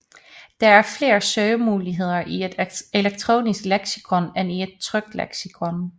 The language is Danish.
Der er flere søgemuligheder i et elektronisk leksikon end i et trykt leksikon